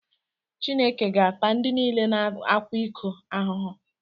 Chineke ga-ata ndị niile na-akwa iko ahụhụ.